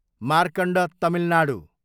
Markand Tamil Nadu